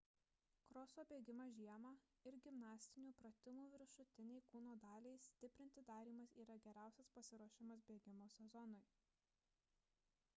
kroso bėgimas žiemą ir gimnastinių pratimų viršutinei kūno daliai stiprinti darymas yra geriausias pasiruošimas bėgimo sezonui